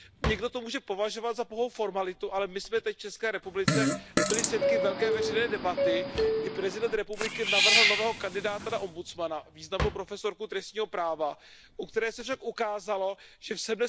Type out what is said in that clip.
Někdo to může považovat za pouhou formalitu, ale my jsme teď v České republice byli svědky velké veřejné debaty, kdy prezident republiky navrhl nového kandidáta na ombudsmana, významnou profesorku trestního práva, u které se však ukázalo, že v